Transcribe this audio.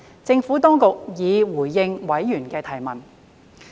政府當局已回應委員的提問。